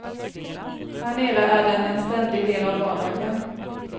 Härnere är den en ständig del av vardagen.